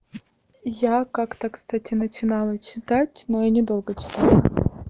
я как-то кстати начинала читать но я недолго читала